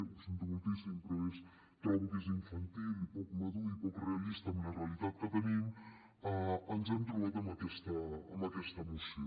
ho sento moltíssim però trobo que és infantil i poc madur i poc realista amb la realitat que tenim ens hem trobat amb aquesta moció